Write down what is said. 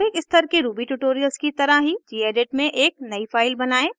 प्रारंभिक स्तर के ruby ट्यूटोरियल्स की तरह ही gedit में एक नयी फाइल बनायें